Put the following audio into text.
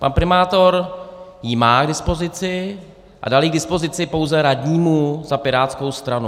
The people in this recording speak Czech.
Pan primátor ji má k dispozici a dal ji k dispozici pouze radnímu za pirátskou stranu.